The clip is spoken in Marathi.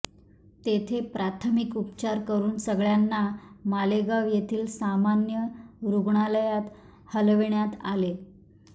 तेेथे प्राथमिक उपचार करून सगळ्यांना मालेगाव येथील सामान्य रुग्णालयात हलविण्यात आले